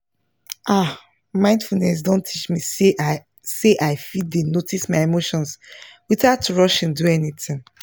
ah mindfulness don teach me say i say i fit dey notice my emotions without rushing do anything